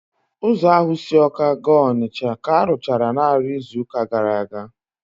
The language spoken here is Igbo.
Ụzọ ahụ si Awka gaa Onitsha ka arụchara naanị izuụka gara aga